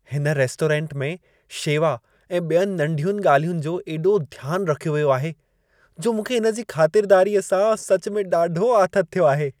हिन रेस्टोरेंट में शेवा ऐं ॿियुनि नंढियुनि ॻाल्हियुनि जो एॾो ध्यान रखियो वियो आहे, जो मूंखे इन जी खातिरदारीअ सां सचु में ॾाढो आथतु थियो आहे।